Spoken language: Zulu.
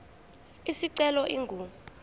isicelo ingu r